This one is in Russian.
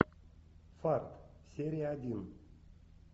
фарт серия один